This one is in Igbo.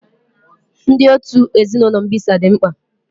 Ndị otu ezinụlọ mbisa dị mkpa.